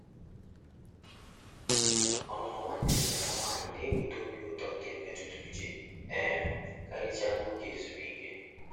Ọnụnọ nwanne nne ya nwanyi na-eweta obi ụtọ nke mmetụta uche, um karịchaa n'oge ezumike.